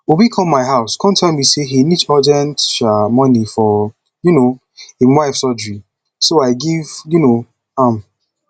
obi come my house come tell me say he need urgent um money for um im wife surgery so i give um am